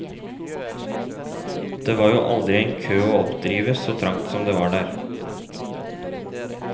Det var jo aldri en kø å oppdrive så trangt som det var der.